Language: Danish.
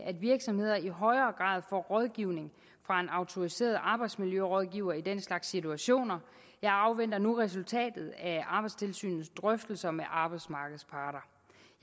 at virksomheder i højere grad får rådgivning fra en autoriseret arbejdsmiljørådgiver i den slags situationer jeg afventer nu resultatet af arbejdstilsynets drøftelser med arbejdsmarkedets parter